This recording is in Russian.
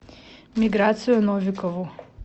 миграцию новикову